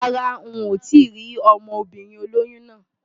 Rárá n ò tíì rí ọmọbìnrin olóyún náà.